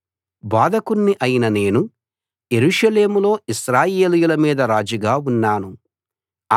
బోధకుణ్ణి అయిన నేను యెరూషలేములో ఇశ్రాయేలీయుల మీద రాజుగా ఉన్నాను